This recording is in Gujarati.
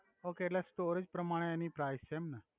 ઓકે એટ્લે સ્ટોરેજ પ્રમાણે એની પ્રાઇસ છે એમ ને